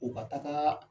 U ka taga